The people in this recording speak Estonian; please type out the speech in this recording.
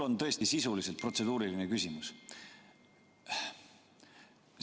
Mul on tõesti sisuliselt protseduuriline küsimus.